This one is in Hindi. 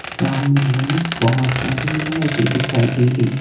सामने हमें बहोत सारी लाइटे दिखाई दे रही हैं।